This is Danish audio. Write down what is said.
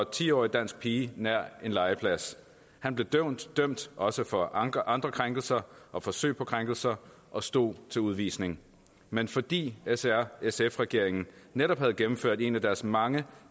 ti årig dansk pige nær en legeplads han blev dømt dømt også for andre krænkelser og forsøg på krænkelser og stod til udvisning men fordi s r sf regeringen netop havde gennemført en af deres mange